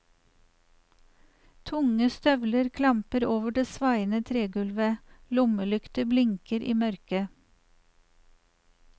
Tunge støvler klamper over det svaiende tregulvet, lommelykter blinker i mørket.